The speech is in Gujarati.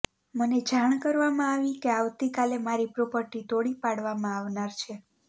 મને જાણ કરવામાં આવી છે કે આવતીકાલે મારી પ્રોપર્ટી તોડી પાડવામાં આવનાર છે